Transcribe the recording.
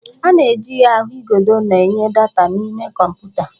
A na-eji ahụigodo na-enye data n'ime kọmputa